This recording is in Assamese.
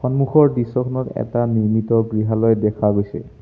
সন্মুখৰ দৃশ্যখনত এটা নিৰ্মিত গৃহালয় দেখা গৈছে।